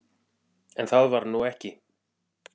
En það varð nú ekki.